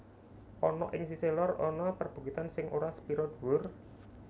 Ana ing sisih lor ana perbukitan sing ora sepira dhuwur